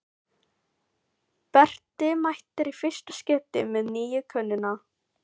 Berti mætir í fyrsta skipti með nýju konuna.